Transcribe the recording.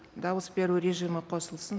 дауыс беру режимі қосылсын